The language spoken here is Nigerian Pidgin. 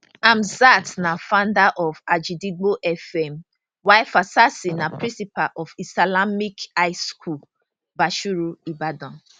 hamzat na founder of agidigbo fm while fasasi na principal of islamic high school bashorun ibadan